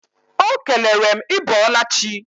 Ọ kelere m ị bọọla chi.